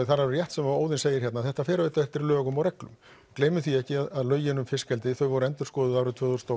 það er alveg rétt sem Óðinn segir hérna að þetta fer eftir lögum og reglum gleymum því ekki að lögin um fiskeldi voru endurskoðuð árið tvö þúsund og